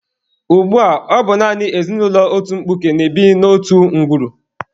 Ugbua, ọ bụ naanị ezinụlọ otu mkpuke na-ebi n'otu ngwuru.